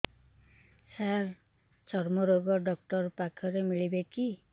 ସାର ଚର୍ମରୋଗ ଡକ୍ଟର ପାଖରେ ମିଳିବେ କି